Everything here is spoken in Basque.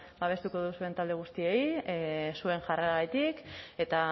babestuko duzuen talde guztiei zuen jarreragatik eta